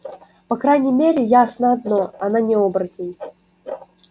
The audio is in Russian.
по крайней мере ясно одно она не оборотень